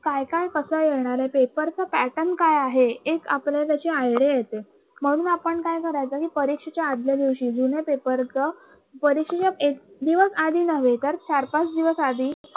काय काय कस येणार आहे. paper च pattern काय आहे. एक आपल्याला त्याची idea येते. म्हणून आपण काय करायचं कि परीक्षेच्या आदल्या दिवशी जुने paper च परीक्षेच्या एक दिवस आधी नव्हे तर चार, पाच दिवस आधी